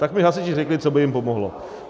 - Tak mi hasiči řekli, co by jim pomohlo.